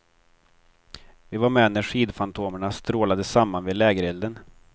Vi var med när skidfantomerna strålade samman vid lägerelden.